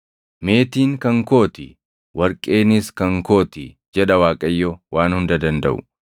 ‘Meetiin kan koo ti; warqeenis kan koo ti’ jedha Waaqayyo Waan Hunda Dandaʼu.